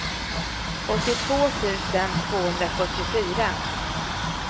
åttiotvå tusen tvåhundrafyrtiofyra